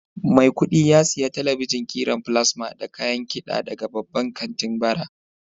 Maikudi ya siya talabijen kiran plasma da kayan kiɗa daga babban kantin bara.